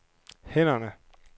hænderne